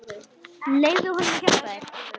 Leyfðu honum að hjálpa þér.